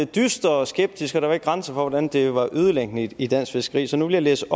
dyster og skeptisk og der var ikke grænser for hvordan det var ødelæggende i dansk fiskeri så nu vil jeg læse